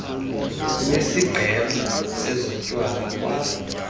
lwesigqeba sezotywala kwa